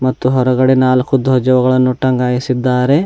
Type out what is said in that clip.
ಮತ್ತು ಹೊರಗಡೆ ನಾಲ್ಕು ಧ್ವಜಗಳನ್ನು ಟಂಗಾಯಿಸಿದ್ದಾರೆ.